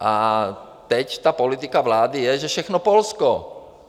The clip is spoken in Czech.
A teď ta politika vlády je, že všechno Polsko.